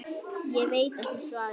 Ég veit ekki svarið.